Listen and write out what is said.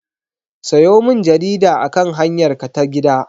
Sayo min jarida akan hanyarka ta gida!